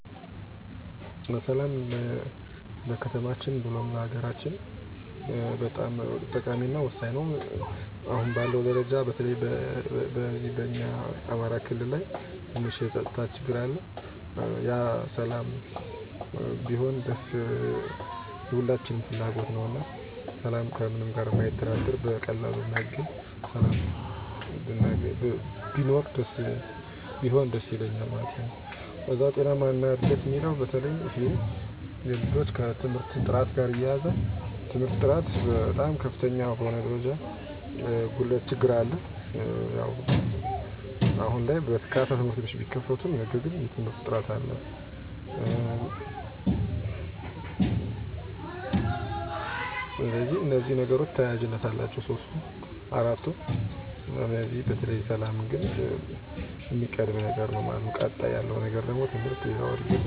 1. ሰላም እና መረጋጋት በሰላም ውስጥ ከፍ ባለ ሁኔታ ለመኖር የሚያስችል የተረጋጋ አካባቢ። 2. ጤናማ እድገት ሁሉም ልጆች ጤናማ እና በትምህርት የተሞሉ ለመሆን የሚያስችል ንቃተ ህሊና ያለው ማህበረሰብ። 3. ትምህርት እና እድሎች ማንኛውም ሰው በችሎታው መሰረት ትምህርት ሊከታተል እና ራሱን ሊያሳኵን የሚችልበት እድል። 4. አንድነት እና መርህ ያለው አገር የግል ጥቅም ከላይ የሀገር ፍላጎት የሚቀርብበት፣ በትክክል እና በአገልግሎት የሚመራበት ማህበረሰብ። በጥቅሉ የምፈልገው ትልቁ ለውጥ ደግሞ ሁሉም ሰው በሰላም፣ በጤና እና በተጠበቀ አካባቢ እድገት ሊያድግ እና በትምህርት እና በሥራ ውጤታማ እድሎችን ሊያገኝ የሚችልበትን የተሻለ አለም ማየት እፈልጋለሁ። በሌላ ቃል፣ የተሻለ ሰው ሰራሽ፣ የተሻለ ማህበረሰብ እና የተሻለ ወደፊት እንዲኖር እመኛለሁ።